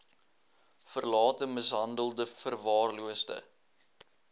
verlate mishandelde verwaarloosde